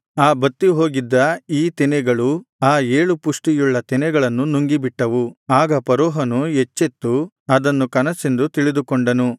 ಆ ಬತ್ತಿ ಹೋಗಿದ್ದ ಈ ತೆನೆಗಳು ಆ ಏಳು ಪುಷ್ಟಿಯುಳ್ಳ ತೆನೆಗಳನ್ನು ನುಂಗಿಬಿಟ್ಟವು ಆಗ ಫರೋಹನು ಎಚ್ಚೆತ್ತು ಅದನ್ನು ಕನಸೆಂದು ತಿಳಿದುಕೊಂಡನು